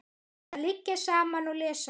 Að liggja saman og lesa.